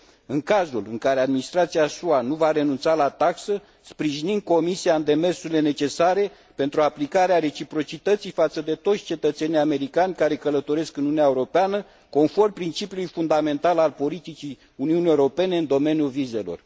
În cazul în care administrația SUA nu va renunța la taxă, sprijinim Comisia în demersurile necesare pentru aplicarea reciprocității față toți cetățenii americani care călătoresc în Uniunea Europeană, conform principiului fundamental al politicii Uniunii Europene în domeniul vizelor.